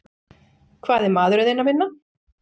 Hvað er maðurinn þinn að vinna?